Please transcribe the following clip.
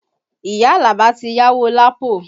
Iya Alaba ti yáwó Lapo